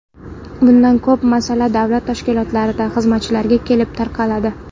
Bunda ko‘p masala davlat tashkilotlaridagi xizmatchilarga kelib taqaladi.